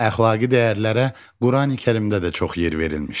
Əxlaqi dəyərlərə Qurani-Kərimdə də çox yer verilmişdi.